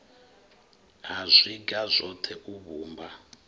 ha zwiga zwoṱhe u vhumba